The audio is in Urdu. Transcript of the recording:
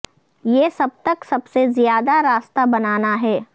یہ سب تک سب سے زیادہ راستہ بنانا ہے